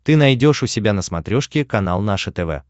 ты найдешь у себя на смотрешке канал наше тв